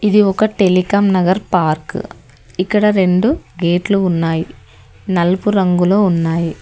ఇది ఒక Telecom Nagar park ఇక్కడ రెండు గేట్లు ఉన్నాయ్ నలుపు రంగులో ఉన్నాయి.